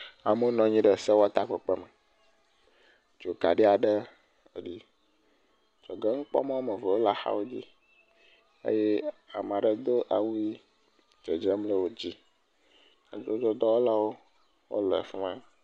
Amewo nɔ anyi ɖe sewɔtakpekpe me, dzokaɖi aɖe eli, dzɔgɛnukpɔmɔ wome ve wole axawo dzi, eye ame aɖe do awu ʋi dzedzem le wo dzi, nyadzɔdzɔdɔwɔlawo ele afi ma.